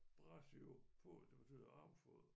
Brachiopod det betyder armfod